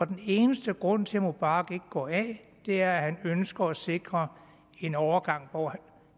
den eneste grund til at mubarak ikke går af er at han ønsker at sikre en overgang hvor